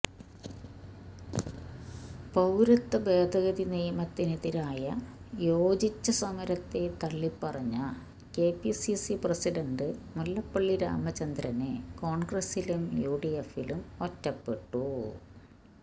പൌരത്വ ഭേദഗതി നിയമത്തിനെതിരായ യോജിച്ച സമരത്തെ തള്ളിപ്പറഞ്ഞ കെപിസിസി പ്രസിഡന്റ് മുല്ലപ്പള്ളി രാമചന്ദ്രന് കോണ്ഗ്രസിലും യുഡിഎഫിലും ഒറ്റപ്പെട്ടു